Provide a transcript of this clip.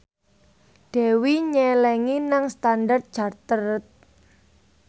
Dewi nyelengi nang Standard Chartered